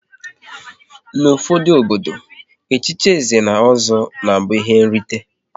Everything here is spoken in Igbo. N'ufodu obodo, echichi Nze na Ọzọ na abụ ihe nrite